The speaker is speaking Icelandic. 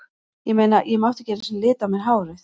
Ég meina, ég mátti ekki einu sinni lita á mér hárið.